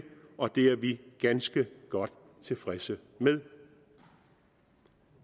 og det er vi ganske godt tilfredse med